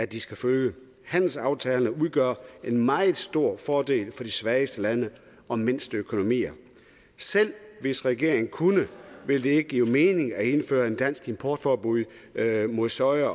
de skal følge handelsaftalerne udgør en meget stor fordel for de svageste lande og mindste økonomier selv hvis regeringen kunne ville det ikke give mening at indføre et dansk importforbud mod soja